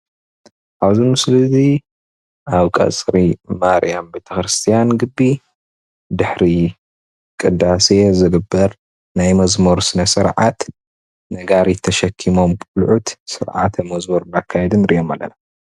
ኣብዚ ምስሊ እዚ ኣብ ቀፅሪ እንዳ ማርያም ቤተ ክርስትያን ግቢ ድሕሪ ቅዳሴ ዝግበር ናይ መዝሙር ስነ ስርዓት ነጋሪት ተሸኪሞም ቆልዑት ስርዓተ መዝሙር እናካየዱ ንሪኦም ኣለና፡፡